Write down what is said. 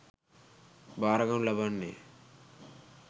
භාරගනු ලබන්නේ